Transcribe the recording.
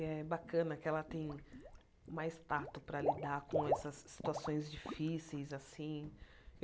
É bacana que ela tem mais tato para lidar com essas situações difíceis, assim.